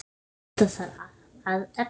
Allt þetta þarf að efla.